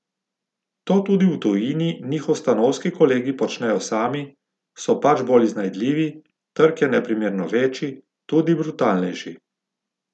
To tudi v tujini njihovi stanovski kolegi počnejo sami, so pač bolj iznajdljivi, trg je neprimerno večji, tudi brutalnejši.